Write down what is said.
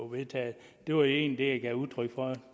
vedtaget det var egentlig det jeg gav udtryk for